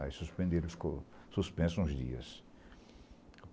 Aí suspenderam, ficou suspenso uns dias.